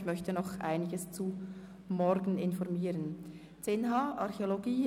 Ich möchte Ihnen noch einige Informationen zum morgigen Tag weitergeben.